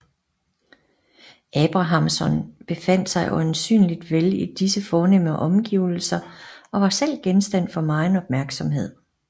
Abrahamson befandt sig øjensynlig vel i disse fornemme omgivelser og var selv genstand for megen opmærksomhed